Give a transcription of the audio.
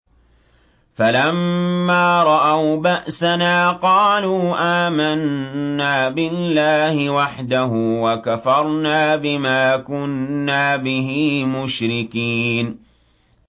فَلَمَّا رَأَوْا بَأْسَنَا قَالُوا آمَنَّا بِاللَّهِ وَحْدَهُ وَكَفَرْنَا بِمَا كُنَّا بِهِ مُشْرِكِينَ